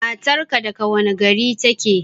Matar ka daga wane gari take?